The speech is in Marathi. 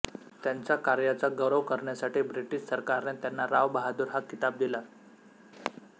त्यांच्या कार्याचा गौरव करण्यासाठी ब्रिटिश सरकारने त्यांना रावबहादुर हा किताब दिला